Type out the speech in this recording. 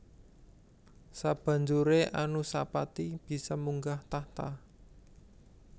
Sabanjuré Anusapati bisa munggah tahta